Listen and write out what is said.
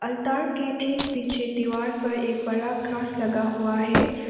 ताड़ के ठीक पीछे दीवार पर एक बड़ा क्रॉस लगा हुआ है।